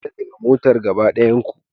Fita daga motar gaba daya ku